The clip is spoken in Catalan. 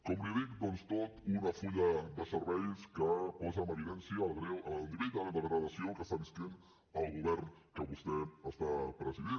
com li dic doncs tot un full de serveis que posa en evidència el nivell de degradació que viu el govern que vostè està presidint